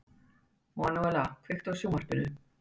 Manúella, kveiktu á sjónvarpinu.